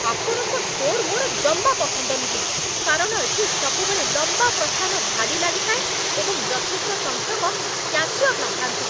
ଆପଣଙ୍କ ଷ୍ଟୋର୍ ମୋର ଜମା ପସନ୍ଦ ନୁହେଁ, କାରଣ ଏଠି ସବୁବେଳେ ଲମ୍ବା ପ୍ରସ୍ଥାନ ଧାଡ଼ି ଲାଗିଥାଏ, ଏବଂ ଯଥେଷ୍ଟ ସଂଖ୍ୟକ କ୍ୟାଶିୟର ନଥାନ୍ତି।